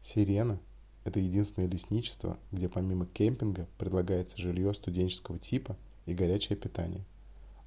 sirena это единственное лесничество где помимо кэмпинга предлагается жилье студенческого типа и горячее питание